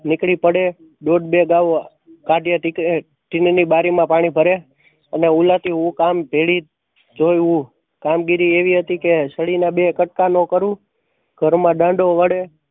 નીકળી પડે. દોઢ બે ગાવા બારી માં પાણી ભરે અને ઉલાટિયું ઉક આમ ભેળી કામગીરી એવી હતી કે સળી ના બે કટકા નો કરૂ. ઘર માં દાંડો વડે